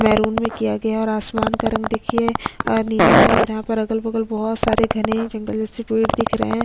Maroon में किया गया है और आसमान का रंग देखिये नीला है और यहाँ पर अगल बगल बहोत सारे घने जंगल जैसे पेड़ दिख रहे है।